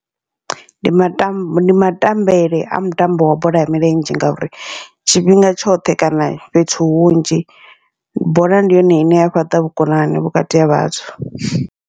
Ndi matambo ndi matambele a mutambo wa bola ya milenzhe, ngauri tshifhinga tshoṱhe kana fhethu hunzhi bola ndi yone ine ya fhaṱa vhukonani vhukati ha vhathu.